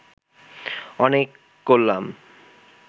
অনেক করলাম